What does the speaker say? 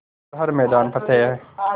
कर हर मैदान फ़तेह